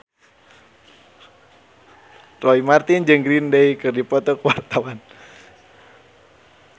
Roy Marten jeung Green Day keur dipoto ku wartawan